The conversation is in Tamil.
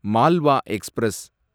மால்வா எக்ஸ்பிரஸ்